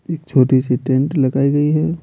एक छोटी सी टेंट लगाई गई है।